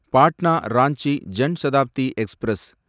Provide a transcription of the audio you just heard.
Patna Ranchi Jan Shatabdi express